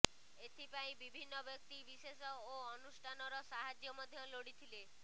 ଏଥିପାଇଁ ବିଭିନ୍ନ ବ୍ୟକ୍ତି ବିଶେଷ ଓ ଅନୁଷ୍ଠାନର ସାହାଯ୍ୟ ମଧ୍ୟ ଲୋଡ଼ିଥିଲେ